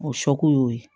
O y'o ye